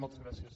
moltes gràcies